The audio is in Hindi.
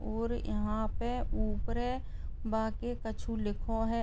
और यहाँ पे ऊपरे बाकी कुछो लिखो है।